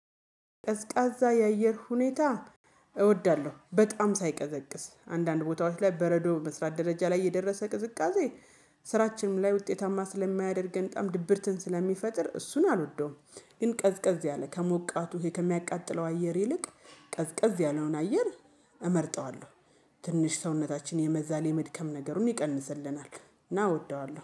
ቀዝቃዛ የአየር ሁኔታ እወዳለሁ በጣም ሳይቀዘቅዝ አንዳንድ ቦታዎች ላይ በረዶ በመስራት ደረጃ ላይ የደረሰ ቅዝቃዜ። ስራችንም ላይ ውጤታማ ስለማያደርገን በጣም ድብርትን ስለሚፈጥር እሱን አልወደውም ግን ቀዝቀዝ ያለ ከሞቃቱ ይሄ ከሚያቃጥለው አየር ይልቅ ቀዝቀዝ ያለውን አየር እመርጠዋለሁ። ትንሽ ሰውነታችን የመዛሌ መድከም ነገሩን ይቀንስልናል እና እወደዋለሁ